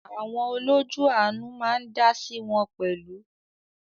Àwọn “ olójú àánú" ma á ń dáásí wọn pẹ̀lú.